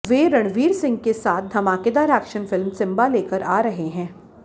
वे रणवीर सिंह के साथ धमाकेदार एक्शन फिल्म सिंबा लेकर आ रहे हैं